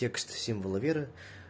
текст символа веры